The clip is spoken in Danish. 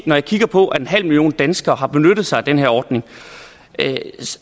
man kigger på at en halv million danskere har benyttet sig af den her ordning